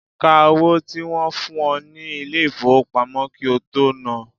Ka owó tí wọ́n fún ọ ní ilé ìfowópamọ́ kí ó tó nán an.